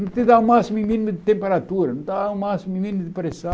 Não te dá o máximo e mínimo de temperatura, não dá o máximo e mínimo de